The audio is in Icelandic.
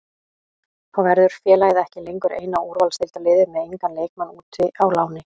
Þá verður félagið ekki lengur eina úrvalsdeildarliðið með engan leikmann úti á láni.